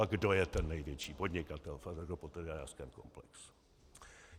A kdo je ten největší podnikatel v agropotravinářském komplexu?